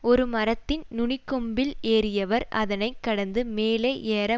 ஒரு மரத்தின் நுனிக்கொம்பில் ஏறியவர் அதனை கடந்து மேலே ஏற